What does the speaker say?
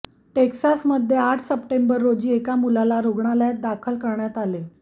टेक्सासमध्ये आठ सप्टेंबर रोजी एका मुलाला रुग्णालयात दाखल करण्यात आले